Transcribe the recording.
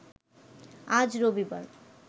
আজ রবিবার